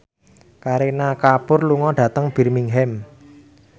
Kareena Kapoor lunga dhateng Birmingham